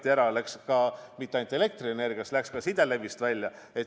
Ja see maakond ei lõigatud ära mitte ainult elektrisüsteemist, vaid ka sidesüsteemist.